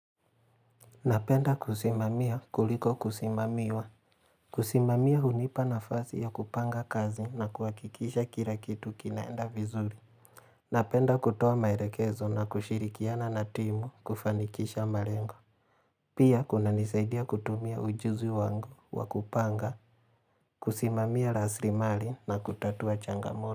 Napenda kusimamia kuliko kusimamiwa. Kusimamia hunipa nafasi ya kupanga kazi na kuhakikisha kila kitu kinaenda vizuri. Napenda kutoa maelekezo na kushirikiana na timu kufanikisha malengo. Pia kunanisaidia kutumia ujuzi wangu wa kupanga, kusimamia rasilimali na kutatua changamoto.